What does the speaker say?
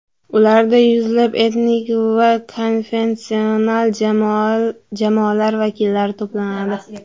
Ularda yuzlab etnik va konfessional jamoalar vakillari to‘planadi.